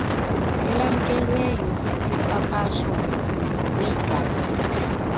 elamkelweyo lipapashwa kwigazethi